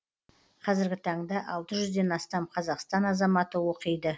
қазіргі таңда алты жүзден астам қазақстан азаматы оқиды